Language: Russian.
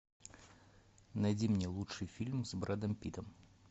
найди мне лучший фильм с брэдом питтом